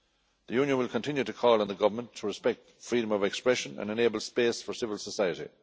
The Union will continue to call on the Government to respect freedom of expression and enable space for civil society.